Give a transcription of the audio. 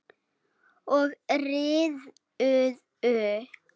Og riðuðu.